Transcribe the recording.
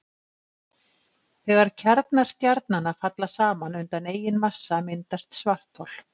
Þegar kjarnar stjarnanna falla saman undan eigin massa myndast svarthol.